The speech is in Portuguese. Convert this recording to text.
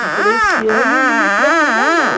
Ele falou, esse ano não me procura, não.